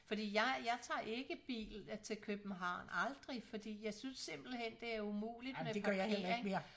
Fordi jeg jeg tager ikke bil til København aldrig fordi jeg synes simpelthen det er umuligt med parkering